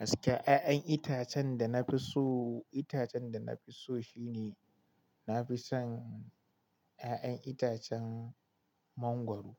Gaskiya ƴaƴan itacen da na fi so, itacen da na fi so shine na fi son ƴaƴan itacen mangwaro.